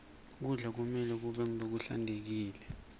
kudla kumelwe kube ngulokuhlantekile